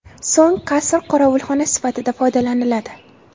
So‘ng qasr qorovulxona sifatida foydalaniladi.